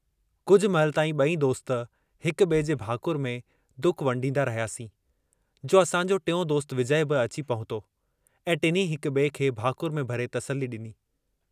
कुझु महिल तांई बई दोस्त हिक बिए जे भाकुर में दुःख वंडीदा रहियासीं जो असांजो टियों दोस्त विजय बि अची पहुतो ऐं टिन्हीं हिक बिए खे भाकुर में भरे तसली डिनीं।